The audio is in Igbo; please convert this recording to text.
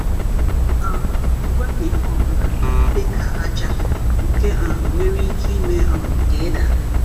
um Wepu ihe ọ bụla, dịka aja, nke um nwere ike ime um ka ị daa.